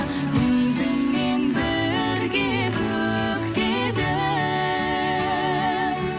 өзіңмен бірге көктедім